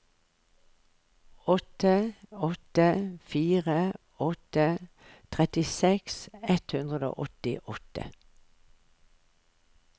åtte åtte fire åtte trettiseks ett hundre og åttiåtte